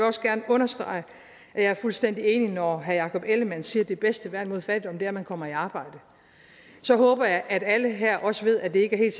også gerne understrege at jeg er fuldstændig enig når herre jakob ellemann jensen siger at det bedste værn mod fattigdom er at man kommer i arbejde så håber jeg at alle her også ved at det ikke er